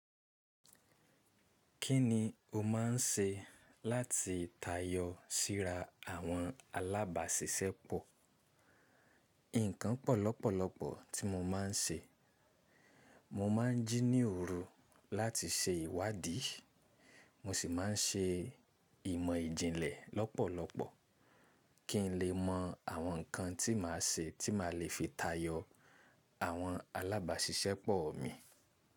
Kí ni o má n ṣe láti tayọ síra àwọn alábàáṣiṣẹ́pọ̀? Ǹkan pọ̀ lọ́pọ̀lọ́pọ̀ tí mo ma n ṣe, mo ma n jí ní òru láti ṣe ìwádìí, mo sì ma n ṣe ìmọ̀ ìjìnlẹ̀ lọ́pọ̀lọ́pọ̀ kí n lè mọ àwọn ǹkan tí màá ṣe ti ma le fi tayọ àwọn alábàáṣiṣẹ́pọ̀ mi.